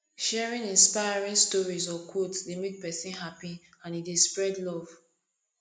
sharing inspiring stories or quotes dey make pesin happy and e dey spread love